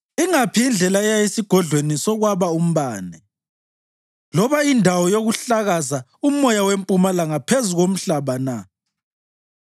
Ingaphi indlela eya esigodlweni sokwaba umbane, loba indawo yokuhlakaza umoya wempumalanga phezu komhlaba na?